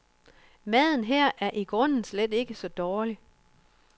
Maden her er i grunden slet ikke så dårlig.